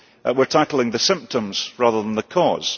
We are tackling the symptoms, rather than the cause.